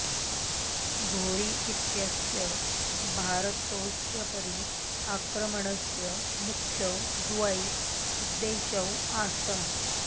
घोरी इत्यस्य भारतस्योपरि आक्रमणस्य मुख्यौ द्वौ उद्दशौ आस्ताम्